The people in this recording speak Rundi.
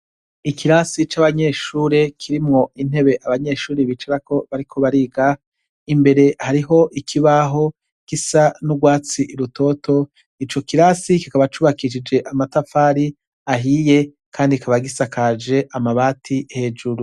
Ikirasi co abanyeshuri kirimwo intebe abanyeshuri bicarako bari kubariga imbere hariho ikibaho kisa n'urwatsi i rutoto i co kirasi kikaba cubakishije amatafari ahiye, kandi kabagisakaje amabati hejuru.